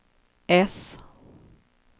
S